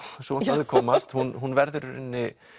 svo má að orði komast hún hún verður í rauninni